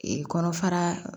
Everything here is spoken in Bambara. kɔnɔfara